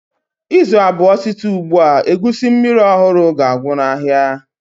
Izu abụọ site ugbu a, egusi mmiri ọhụrụ ga-agwụ n'ahịa.